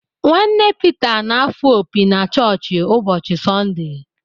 Nwanne Pita na-afụ opi na chọọchị ụbọchị Sọnde.